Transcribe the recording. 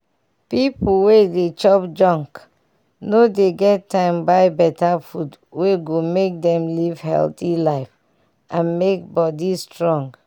pipu wey dey chop junk no dey get time buy better food wey go make dem live healthy life and make body strong.